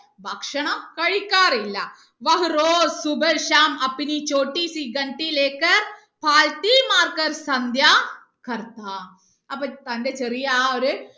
ഭക്ഷണം കഴിക്കാറില്ല അപ്പൊ തന്റെ ചെറിയ ആ ഒര്